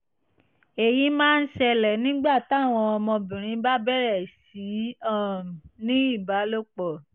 èyí máa ń ṣẹlẹ̀ nígbà táwọn ọmọbìnrin bá bẹ̀rẹ̀ sí í um ní ìbálòpọ̀